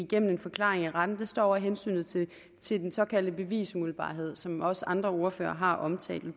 gennem en forklaring i retten står over hensynet til den såkaldte bevisumiddelbarhed som også andre ordførere har omtalt